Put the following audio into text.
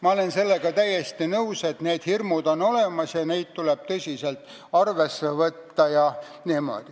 Ma olen sellega täiesti nõus, et need hirmud on olemas ja neid tuleb tõsiselt arvesse võtta.